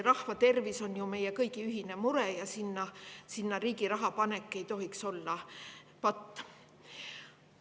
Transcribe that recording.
Rahva tervis on ju meie kõigi ühine mure ja sinna riigi raha panek ei tohiks olla patt.